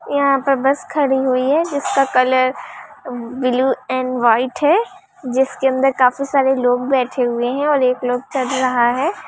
यहाँ पे बस खड़ी हुई है जिसका कलर ब्लू एंड वाइट हैं जिसके अंदर काफी सारे लोग बैठे हुए हैं और एक लोग चल रहा हैं।